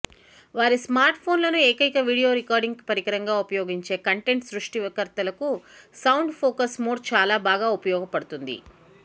వారి స్మార్ట్ఫోన్లను ఏకైక వీడియో రికార్డింగ్ పరికరంగా ఉపయోగించే కంటెంట్ సృష్టికర్తలకు సౌండ్ ఫోకస్ మోడ్ చాలా బాగా ఉపయోగపడుతుంది